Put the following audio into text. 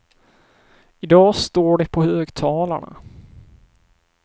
I dag står de på högtalarna.